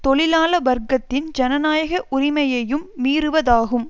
தொழிலாள வர்க்கத்தின் ஜனநாயக உரிமையையும் மீறுவதாகும்